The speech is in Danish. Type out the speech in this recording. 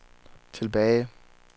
tilbage